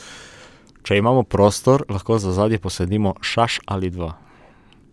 Če imamo prostor, lahko za ozadje posadimo šaš ali dva.